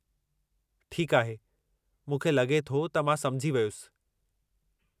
ठीकु आहे, मूंखे लगे॒ थो त मां सममुझी वियुसि।